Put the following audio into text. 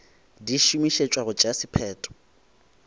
di šomišetšwa go tšea sephetho